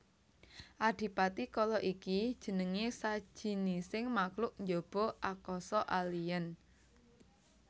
Adipati Kala iki jenengé sajinising makluk njaba akasa alien